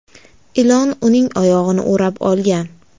Ilon uning oyog‘ini o‘rab olgan.